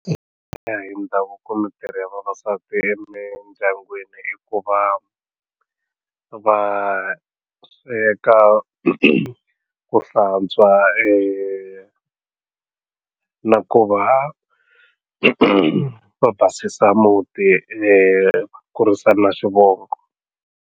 Ku ya hi ndhavuko mintirho ya vavasati emindyangwini i ku va va sweka ku hlantswa na ku va va basisa muti kurisa na swivongo.